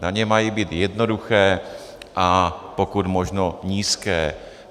Daně mají být jednoduché a pokud možno nízké.